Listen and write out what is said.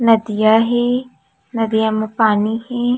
नदिया हे नदिया म पानी हे।